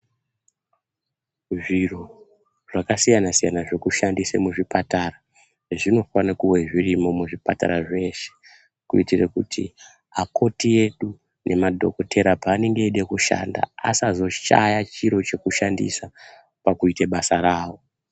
Zviro zvakasiyana-siyana zvekushandisa muzvipatara zvinofana kuva zvirimo muzvipatara zveshe kuitira kuti akoti edu nemadhokotera paanenge eida kushanda asazoshaya chiro chekushandisa pakuita basa rawo.